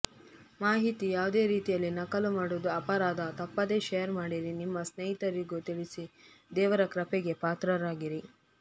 ಮಾಹಿತಿ ಯಾವುದೇ ರೀತಿಯಲ್ಲಿ ನಕಲು ಮಾಡುವುದು ಅಪರಾಧ ತಪ್ಪದೇ ಶೇರ್ ಮಾಡಿರಿ ನಿಮ್ಮ ಸ್ನೇಹಿತರಿಗೂ ತಿಳಿಸಿ ದೇವರ ಕೃಪೆಗೆ ಪಾತ್ರರಾಗಿರಿ